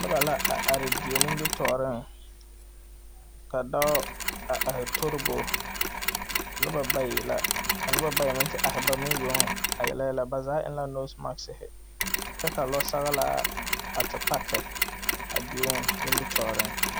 Noba la a are die nimitɔɔreŋ ka dɔɔ a are tori bo noba bayi la ka noba bayi meŋ te are ba meŋ yoŋ a yele yɛlɛ ba zaa eŋ la noosemaski kyɛ ka lɔɔsɔglaa a te paki a deo nimitɔɔreŋ.